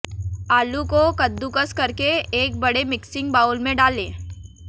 आलू को कद्दुकस करके एक बड़े मिक्सिंग बाउल में डालें